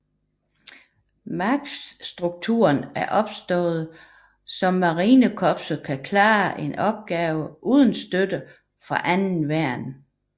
MAGTF strukturen er opstået så marinekorpset kan klare en opgave uden støtte fra andre værn